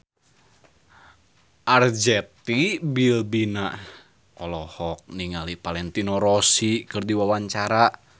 Arzetti Bilbina olohok ningali Valentino Rossi keur diwawancara